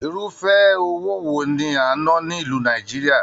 Irúfẹ́ owó wo ní a n nà ni ìlú Nàìjíríà?